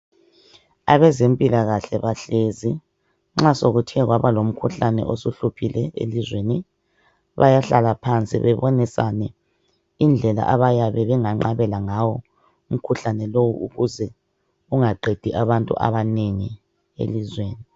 Abezempilakahle bahlezi, nxa sekuthe kwaba lomkhuhlane osuhluphile elizweni bayahlala phansi babonisane indlela abayabe benganqabela ngayo umkhuhlane lowu ukuze ungaqedi abantu abanengi elizweni.